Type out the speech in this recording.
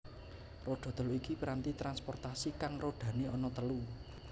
Roda telu iku piranti transportasi kang rodane ana telu